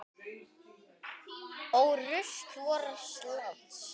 Ó rusl vors lands.